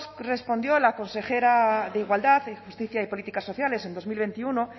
respondió la consejera de igualdad justicia y políticas sociales en dos mil veintiuno